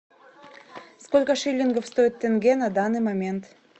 сколько шиллингов стоит тенге на данный момент